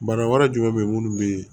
Bana wɛrɛ jumɛn be yen munnu be